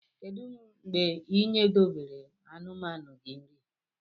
Kedu mgbe inyedobere anumanu gi nri?